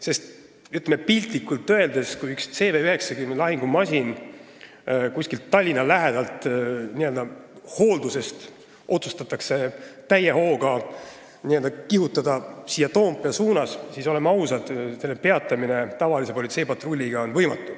Piltlikult öeldes, kui otsustatakse panna üks CV90 lahingumasin kuskilt Tallinna lähedalt hooldusest täie hooga siia Toompea suunas kihutama, siis, oleme ausad, selle peatamine tavalise politseipatrulliga on võimatu.